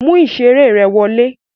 Mú ìṣeré ẹ wọlé!